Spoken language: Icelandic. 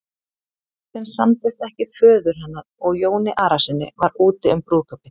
Ef þeim samdist ekki föður hennar og Jóni Arasyni var úti um brúðkaupið.